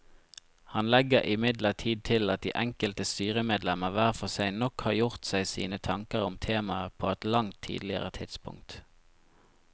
Han legger imidlertid til at de enkelte styremedlemmer hver for seg nok har gjort seg sine tanker om temaet på et langt tidligere tidspunkt.